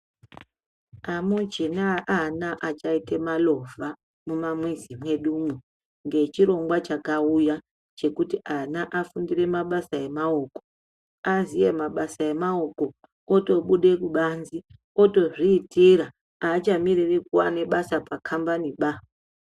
Amuchina ana achaite malovha mumamuzi mwedumwo ngechirongwa chakauya chekuti ana afundire mabasa emaoko aziye mabasa emaoko otobude kubanze otozviitira aachamiriri kuwa nebasa pakambani ba.